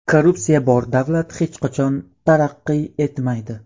Korrupsiya bor davlat hech qachon taraqqiy etmaydi.